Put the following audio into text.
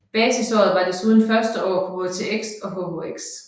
Basisåret var desuden første år på HTX og HHX